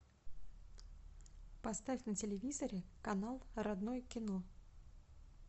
поставь на телевизоре канал родное кино